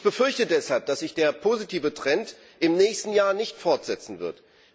Ich befürchte deshalb, dass sich der positive Trend im nächsten Jahr nicht fortsetzen wird.